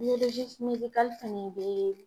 fɛnɛ bɛ